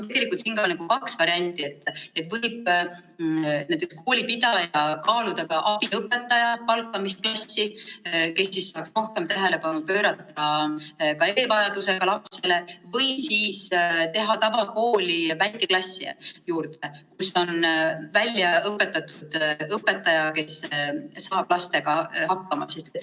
Tegelikult on kaks varianti: koolipidaja võib kas palgata klassi abiõpetaja, kes saab rohkem tähelepanu pöörata erivajadusega lapsele, või teha tavakooli juurde väikeklasse, kus on väljaõpetatud õpetaja, kes saab lastega hakkama.